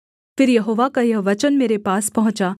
फिर यहोवा का यह वचन मेरे पास पहुँचा